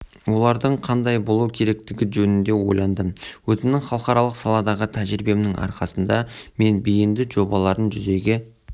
олардың қандай болу керектігі жөнінде ойландым өзімнің халықаралық саладағы тәжірибемнің арқасында мен бейінді жобаларын жүзеге